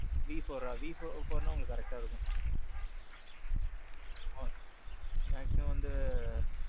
V fourஅ V four உங்களுக்கு correct இருக்கும். ஆ. maximum வந்து,